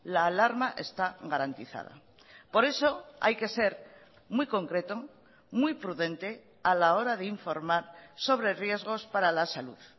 la alarma está garantizada por eso hay que ser muy concreto muy prudente a la hora de informar sobre riesgos para la salud